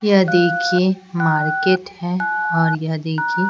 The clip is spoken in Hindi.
यह देखिए मार्केट है और यह देखिए--